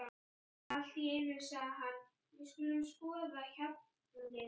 Allt í einu sagði hann: Við skulum skoða hjallinn.